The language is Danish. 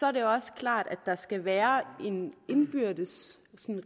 er det også klart at der skal være en indbyrdes